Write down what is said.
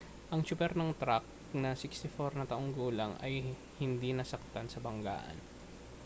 ang tsuper ng trak na 64 na taong gulang ay hindi nasaktan sa banggaan